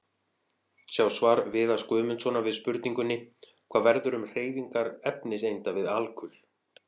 Sjá svar Viðars Guðmundssonar við spurningunni: Hvað verður um hreyfingar efniseinda við alkul?